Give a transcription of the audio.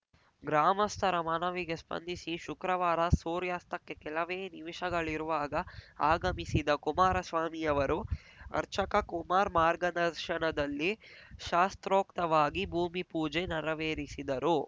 ಗ್ರಾಮಸ್ಥರ ಮನವಿಗೆ ಸ್ಪಂದಿಸಿ ಶುಕ್ರವಾರ ಸೂರ್ಯಾಸ್ತಕ್ಕೆ ಕೆಲವೇ ನಿಮಿಷಗಳಿರುವಾಗ ಆಗಮಿಸಿದ ಕುಮಾರಸ್ವಾಮಿ ಅವರು ಅರ್ಚಕ ಕುಮಾರ್‌ ಮಾರ್ಗದರ್ಶನದಲ್ಲಿ ಶಾಸ್ತ್ರೋಕ್ತವಾಗಿ ಭೂಮಿಪೂಜೆ ನೆರವೇರಿಸಿದರು